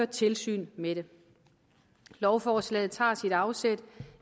tilsyn med det lovforslaget tager sit afsæt